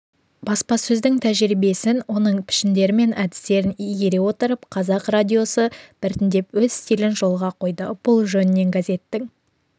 баспасөздің тәжірибесін оның пішіндері мен әдістерін игере отырып қазақ радиосы біртіндеп өз стилін жолға қойды бұл жөнінен газеттің